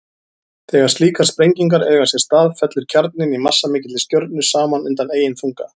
Þegar slíkar sprengingar eiga sér stað fellur kjarninn í massamikilli stjörnu saman undan eigin þunga.